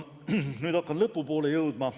Nüüd hakkan lõpu poole jõudma.